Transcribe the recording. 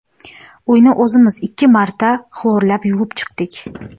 Uyni o‘zimiz ikki marta xlorlab yuvib chiqdik.